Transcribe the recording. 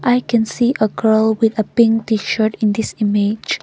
I can see a girl with a pink tshirt in this image.